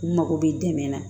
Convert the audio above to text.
N mago bɛ dɛmɛ na